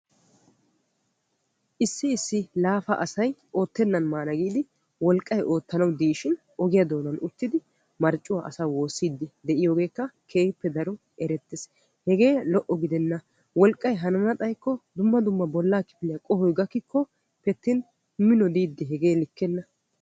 Issi issi laafa asay utti maana giidi wolqqay oottanawu diishshin ogiyaa doonan uttidi marccuwaa asa woossiidi de'iyoogekka keehippe daro erettees. hegee lo"o gidenna. wolqqay hanana xayikko dumma dumma bollaa kifiliyaa qohoy gakikkoppe attin mino diiddi hegee likkenna.